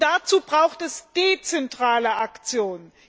Dazu braucht es dezentrale Aktionen.